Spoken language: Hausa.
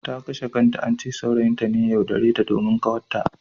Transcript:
Ta kashe kanta, ance saurayin ta ne ya yaudare ta domin ƙawatta.